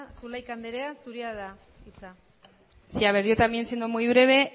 zulaika andereak zurea da hitza sí a ver yo también siendo muy breve